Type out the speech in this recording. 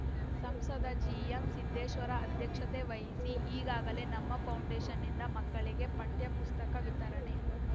ಸಂಸದ ಜಿಎಂ ಸಿದ್ದೇಶ್ವರ ಅಧ್ಯಕ್ಷತೆ ವಹಿಸಿ ಈಗಾಗಲೇ ನಮ್ಮ ಫೌಂಡೇಷನ್‌ನಿಂದ ಮಕ್ಕಳಿಗೆ ಪಠ್ಯಪುಸ್ತಕ ವಿತರಣೆ